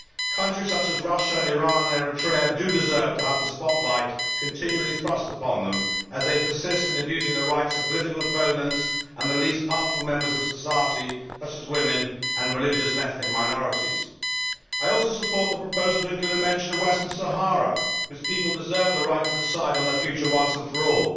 Countries such as Russia, Iran and Eritrea deserve to have the spotlight continually shone on them, as they persist in abusing the rights of political opponents and the least powerful members of society, such as women and religious and ethnic minorities. I also support the proposal to include a mention of Western Sahara, whose people deserve the right to decide on their future once and for all.